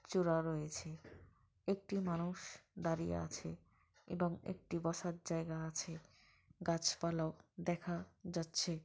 চূড়া রয়েছে একটি মানুষ দাঁড়িয়ে আছে এবং একটি বসার জায়গা আছে। গাছাপালাও দেখা যাচ্ছে।